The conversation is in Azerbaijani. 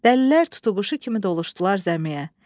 Dəlilər tutuquşu kimi doluşdular zəmiyə.